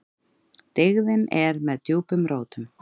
Dyggðin er með djúpum rótum.